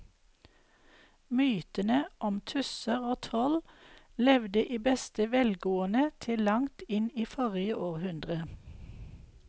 Mytene om tusser og troll levde i beste velgående til langt inn i forrige århundre.